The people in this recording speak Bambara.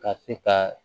Ka se ka